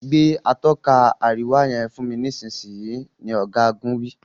Gbé Atọ́ka àríwá yen fún mí nísìsiyìí! ní ogagun wí.